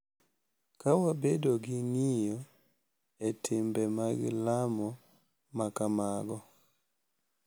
Ka wabedo gi ng’iyo e timbe mag lamo ma kamago,